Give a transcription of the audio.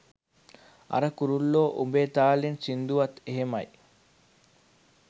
අර 'කුරුල්ලෝ උඹේ තාලෙන්' සින්දුවත් එහෙමයි.